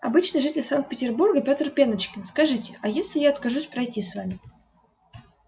обычный житель санкт-петербурга пётр пеночкин скажите а если я откажусь пройти с вами